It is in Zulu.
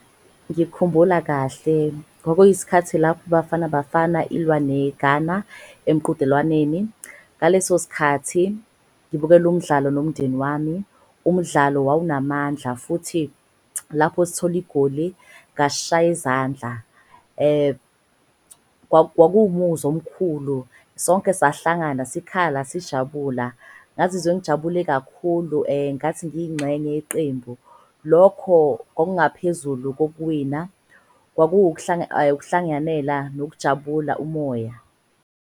Ngikhumbula kahle kwakuyisikhathi lapho iBafana Bafana ilwa neGhana emqhudelwaneni. Ngaleso skhathi ngibukele umdlalo nomndeni wami umdlalo wawunamandla futhi lapho sithola igoli ngashaya izandla. Kwakuwumuzwa omkhulu sonke sahlangana sikhala, sijabula, ngazizwa ngijabule kakhulu ngathi ngiyingxenye iqembu. Lokho kwabangaphezulu kokuwina ukuhlangiyanela nokujabula umoya.